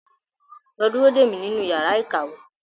Lọ dúró dè mí nínú yàrá ìkàwé!